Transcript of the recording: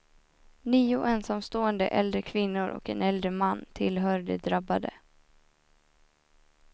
Nio ensamstående äldre kvinnor och en äldre man tillhör de drabbade.